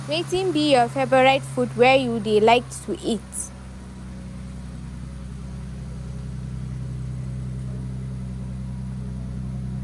Wetin be your favorite food wey you dey like to eat?